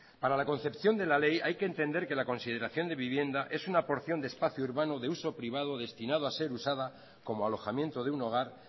para la concepción de la ley hay que entender que la consideración de vivienda es una porción de espacio urbano de uso privado destinado a ser usada como alojamiento de un hogar